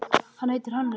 Hann heitir Hannes.